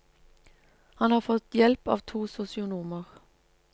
Han har fått hjelp av to sosionomer.